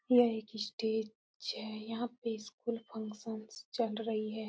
यह एक स्टेज है यहाँ पे स्कूल फंक्शनस चल रही है।